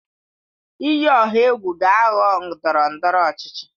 Iyi ọha egwu ga-aghọ ndọrọ ndọrọ ọchịchị